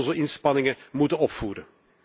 We zullen onze inspanningen moeten opvoeren.